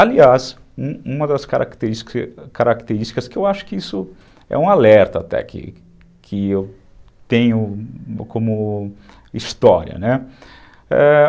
Aliás, uma das características que características eu acho que isso é um alerta até, que eu tenho como história, né? É...